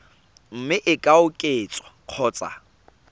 mme e ka oketswa kgotsa